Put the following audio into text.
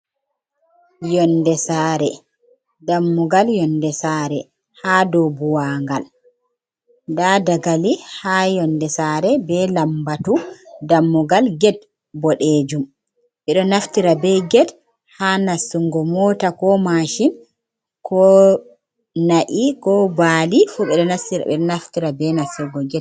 Yonde saare, dammugal yonde saare haa dow buuwaangal, ndaa dakali haa yonde saare, be lambatu, dammugal get boɗejum. Ɓe ɗo naftira be get haa nastungo moota, ko maachin, ko na’i, ko baali fu, ɓe ɗo naftira be nastugo get.